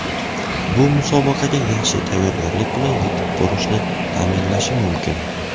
Bu musobaqaga yaxshi tayyorgarlik bilan yetib borishni ta’minlashi mumkin.